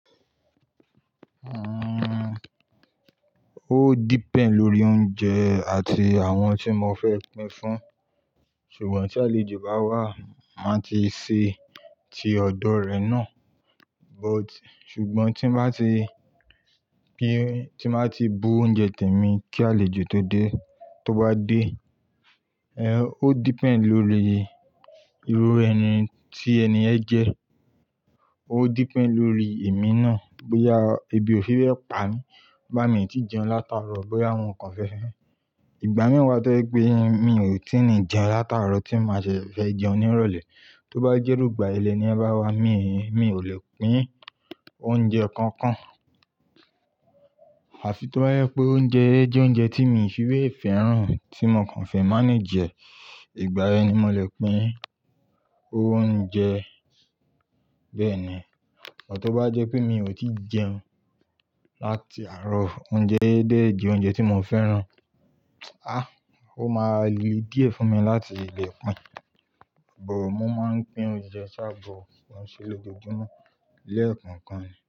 Uhm, ó depend lórí ounjè àti àwọn tí mo fẹ́ pín fún, ṣùgbọ́n tí àlejò bá wá, ma ti ṣe ti ọ̀dọ̀ rẹ̀ náà. But, ṣùgbọ́n tí n bá ti, tí n bá ti bu oúnjẹ tèmi kí àlejò tó dé, tó bá dé, eh, ó depend lórí irú ẹni tí ènìyàn jẹ́. Ó depend lórí èmi náà, bo ya, ebi ò fi rẹ pa mí, bá mi ń ti jẹun láti àrọ̀, bo ya àwọn ǹkan fẹ́. Ìgbà miwa tó pé mi ò ti ní jẹun láti àrọ̀, tí ma ṣe fẹ́ jẹun ní ìrọ̀lẹ́. Tó bá jẹ rugba ilé ni ẹ bá wá, mi, mi ò lè pín oúnjẹ kankan. Àfi tó bá rẹ pé oúnjẹ jẹ́ oúnjẹ tí mi fi rẹ fẹ́ràn, tí mo kan fẹ́, manage é. Ìgbà yẹn ni mo lè pín oúnjẹ. Bẹ́ẹ̀ni, but tó bá jẹ́ pé mi ò ti jẹun láti àrọ̀, oúnjẹ dẹ̀ jẹ́ oúnjẹ tí mo fẹ́ràn, a, ó ma le díẹ̀ fún mi láti lè pín. But, mo ma pín oúnjẹ ṣá bó wọn ṣe lójoojúmọ́ lẹ́ẹ̀kan kan.